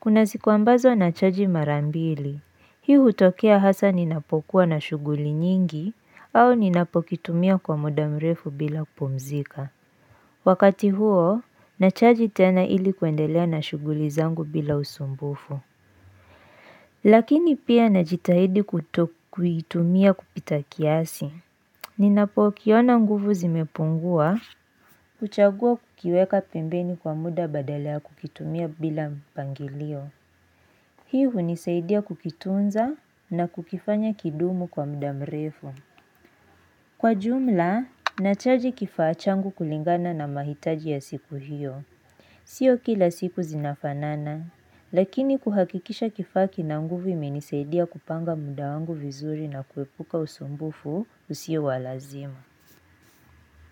Kuna siku ambazo nachaji marambili. Hii hutokea hasa ninapokuwa na shughuli nyingi au ninapokitumia kwa muda mrefu bila kupumzika. Wakati huo, nachaji tena ili kuendelea na shughuli zangu bila usumbufu. Lakini pia najitahidi kutokuitumia kupita kiasi. Ninapokiona nguvu zimepungua. Kuchagua kukiweka pembeni kwa muda badala ya kukitumia bila mpangilio. Hii hunisaidia kukitunza na kukifanya kidumu kwa mda mrefu. Kwa jumla, nachaji kifaa changu kulingana na mahitaji ya siku hiyo. Sio kila siku zinafanana, lakini kuhakikisha kifaa kina nguvu kimenisaidia kupanga muda wangu vizuri na kuepuka usumbufu usio wa lazima.